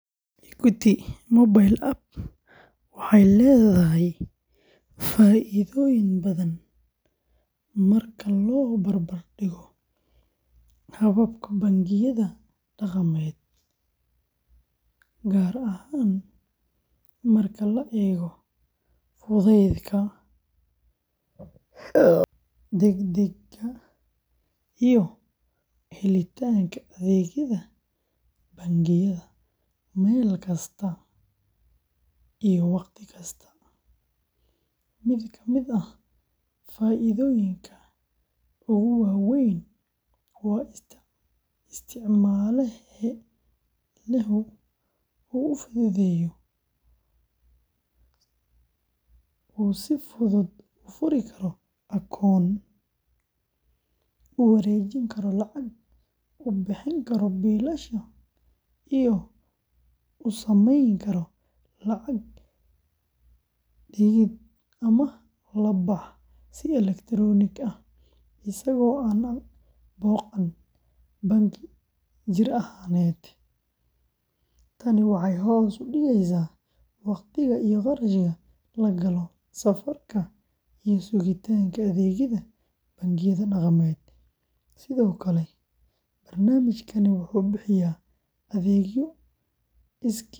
Equity Mobile App waxay leedahay faa’iidooyin badan marka loo barbar dhigo hababka bangiyada dhaqameed, gaar ahaan marka la eego fudaydka, degdegga, iyo helitaanka adeegyada bangiyada meel kasta iyo wakhti kasta. Mid ka mid ah faa’iidooyinka ugu waa weyn waa in isticmaalehu uu si fudud u furi karo akoon, u wareejin karo lacag, u bixin karo biilasha, iyo u samayn karo lacag dhigid ama la bax si elektaroonik ah isagoo aan booqan bangi jir ahaaneed. Tani waxay hoos u dhigaysaa waqtiga iyo kharashka la galo safarka iyo sugitaanka adeegyada bangiyada dhaqameed. Sidoo kale, barnaamijkani wuxuu bixiyaa adeegyo iskiis.